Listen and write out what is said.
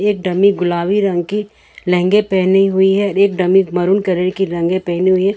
Dummy गुलाबी रंग के लहंगे पहनी हुई है एक डमी मैरून कलर की लहंगे पहनी हुई।